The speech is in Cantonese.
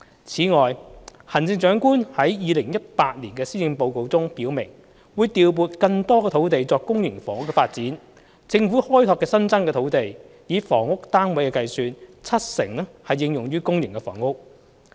此外，行政長官亦於2018年施政報告中表明，會調撥更多土地作公營房屋發展，政府開拓的新增土地，以房屋單位計算，七成應用於公營房屋。